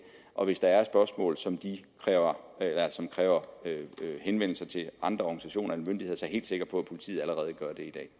og hvis der er spørgsmål som kræver som kræver henvendelser til andre organisationer end myndigheder er jeg helt sikker på at politiet allerede gør det